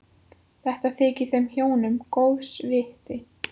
Þetta þykir þeim hjónum góðs viti.